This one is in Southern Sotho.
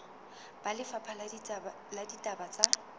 ba lefapha la ditaba tsa